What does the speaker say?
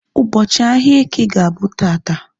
Ụbọchị ahia eke ga-abụ taata